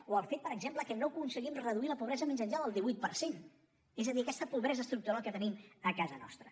o el fet per exemple que no aconseguim reduir la pobresa més enllà del divuit per cent és a dir aquesta pobresa estructural que tenim a casa nostra